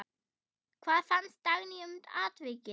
Hvað fannst Dagný um atvikið?